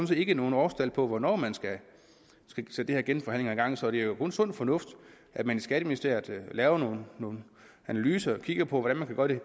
set ikke noget årstal på hvornår man skal sætte de her genforhandlinger i gang så det er jo kun sund fornuft at man i skatteministeriet laver nogle analyser og kigger på hvordan